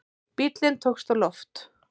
Bíllinn tókst á loft